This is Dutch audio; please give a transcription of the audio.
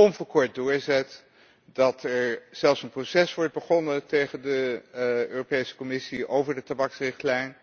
onverkort doorzet. Dat er zelfs een proces wordt begonnen tegen de Europese Commissie over de tabaksrichtlijn.